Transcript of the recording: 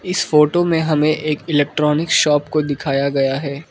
इस फोटो में हमें एक इलेक्ट्रॉनिक शॉप को दिखाया गया है।